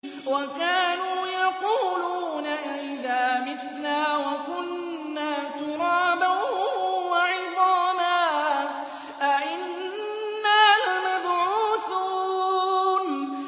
وَكَانُوا يَقُولُونَ أَئِذَا مِتْنَا وَكُنَّا تُرَابًا وَعِظَامًا أَإِنَّا لَمَبْعُوثُونَ